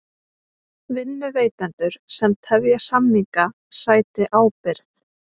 Vinnuveitendur sem tefja samninga sæti ábyrgð